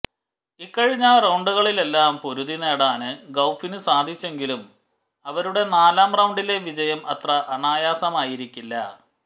ഇക്കഴിഞ്ഞ റൌണ്ടുകളിലെല്ലാം പൊരുതി നേടാന് ഗൌഫിന് സാധിച്ചെങ്കിലും അവരുടെ നാലാം റൌണ്ടിലെ വിജയം അത്ര അനായാസമായിരിക്കില്ല